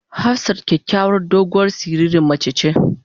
Hafsat kyakyawar doguwar siririn mace ce.